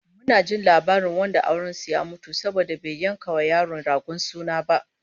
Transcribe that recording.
Mun ji labarin wanda auren su ya mutu saboda bai yanka wa yaro ragon suna ba